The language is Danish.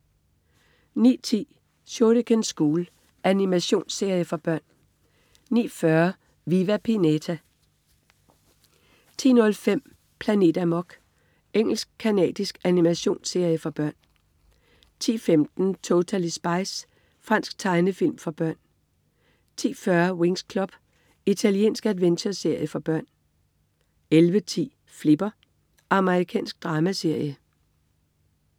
09.10 Shuriken School. Animationsserie for børn 09.40 Viva Pinata 10.05 Planet Amok. Engelsk-canadisk animationsserie for børn 10.15 Totally Spies. Fransk tegnefilm for børn 10.40 Winx Club. Italiensk adventureserie for børn 11.10 Flipper. Amerikansk dramaserie